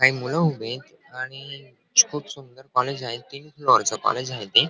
काही मूल उभीत आहेत आणि खूपच सुंदर कॉलेज आहे तीन फ्लोअर च कॉलेज आहे ते.